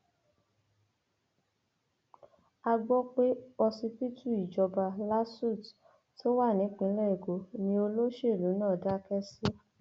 a gbọ pé ọsibítù ìjọba lasuth tó wà nípìnlẹ èkó ni olóṣèlú náà dákẹ sí